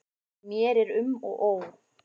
Mér er um og ó.